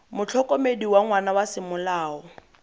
motlhokomedi wa ngwana wa semolao